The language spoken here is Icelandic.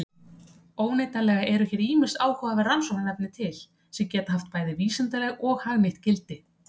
Óneitanlega eru hér ýmis áhugaverð rannsóknarefni til sem geta haft bæði vísindalegt og hagnýtt gildi.